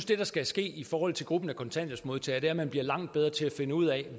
det der skal ske i forhold til gruppen af kontanthjælpsmodtagere er at man bliver langt bedre til at finde ud af